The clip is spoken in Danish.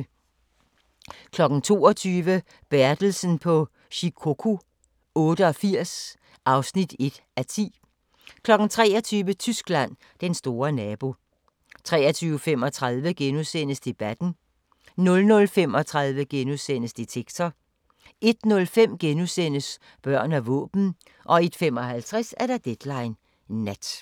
22:00: Bertelsen på Shikoku 88 (1:10) 23:00: Tyskland: Den store nabo 23:35: Debatten * 00:35: Detektor * 01:05: Børn og våben * 01:55: Deadline Nat